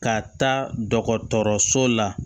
Ka taa dɔgɔtɔrɔso la